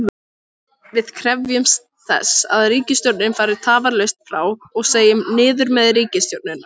Við krefjumst þess að ríkisstjórnin fari tafarlaust frá og segjum: Niður með ríkisstjórnina!